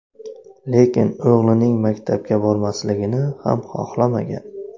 Lekin o‘g‘lining maktabga bormasligini ham xohlamagan.